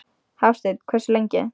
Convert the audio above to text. Hafsteinn: Hversu lengi?